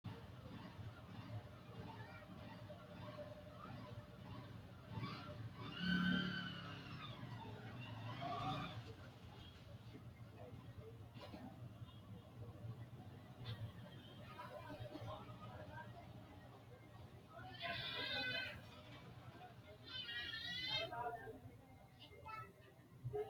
Babbaxxino mannu horoonsi’ranno darguwara geerraho, godowinni noohura, bisu aana musso noohura hasiissannote Babbaxxino mannu horoonsi’ranno darguwara geerraho, godowinni noohura, bisu aana musso.